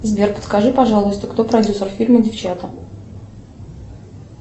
сбер подскажи пожалуйста кто продюсер фильма девчата